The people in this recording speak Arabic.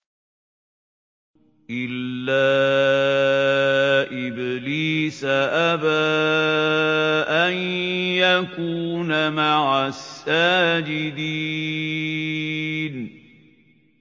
إِلَّا إِبْلِيسَ أَبَىٰ أَن يَكُونَ مَعَ السَّاجِدِينَ